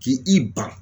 K'i ban